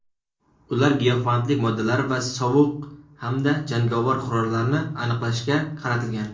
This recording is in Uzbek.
ular giyohvandlik moddalari va sovuq hamda jangovar qurollarni aniqlashga qaratilgan.